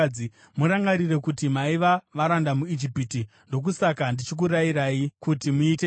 Murangarire kuti maiva varanda muIjipiti. Ndokusaka ndichikurayirai kuti muite izvi.